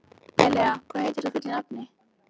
Elea, hvað heitir þú fullu nafni?